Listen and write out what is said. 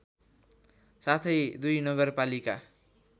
साथै दुई नगरपालिका